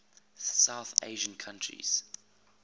south asian countries